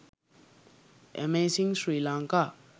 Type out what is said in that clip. amazing sri lanka